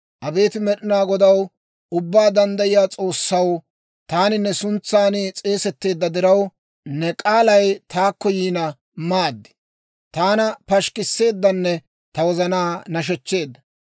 Abeet Med'inaa Godaw, Ubbaa Danddayiyaa S'oossaw, taani ne suntsan s'eesetteedda diraw, ne k'aalay taakko yiina maad. Taana pashikkiseeddanne ta wozanaa nashechcheedda.